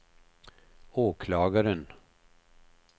åklagaren